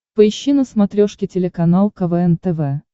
поищи на смотрешке телеканал квн тв